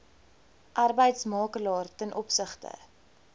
arbeidsmakelaar ten opsigte